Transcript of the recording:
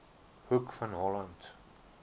hoek van holland